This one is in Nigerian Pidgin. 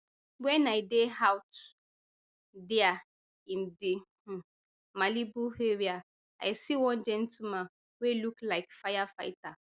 wen i dey out dia in di um malibu area i see one gentleman wey look like firefighter